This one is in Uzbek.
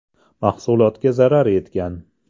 Mahsulotga zarar yetgan.